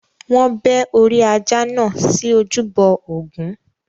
Wọn bẹ́ orí ajá náà sí ojúbọ Ògún.